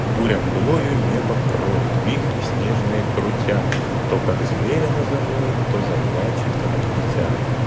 буря мглою небо кроет вихри снежные крутя то как зверь она завоет то заплачет как дитя